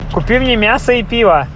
купи мне мяса и пива